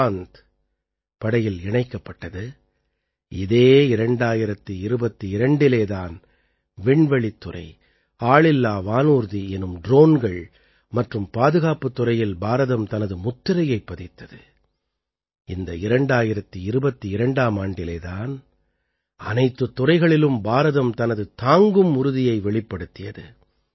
விக்ராந்த் படையில் இணைக்கப்பட்டது இதே 2022இலே தான் விண்வெளித்துறை ஆளில்லா வானூர்தி எனும் ட்ரோன்கள் மற்றும் பாதுகாப்புத் துறையில் பாரதம் தனது முத்திரையைப் பதித்தது இந்த 2022ஆம் ஆண்டிலே தான் அனைத்துத் துறைகளிலும் பாரதம் தனது தாங்கும் உறுதியை வெளிப்படுத்தியது